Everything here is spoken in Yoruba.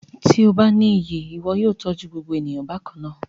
Ti o ba ni iyi, iwọ yóò tọju gbogbo eniyan bakanna